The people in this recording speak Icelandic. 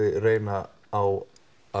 reyna á